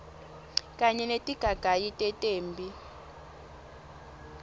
kanye netigagayi tetemphi